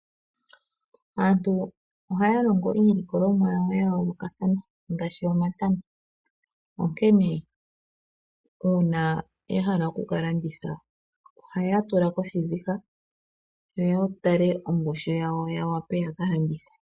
Aantu ohaalongo iilikolomwa ya yoolokathana ngaashi omatama nuuna ngele ya hala okulanditha omatama ohaatula koshiviha yo ya tale ongushu yango, ya wape yakalandithe.